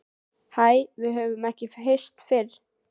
Hæ, við höfum ekki hist fyrr.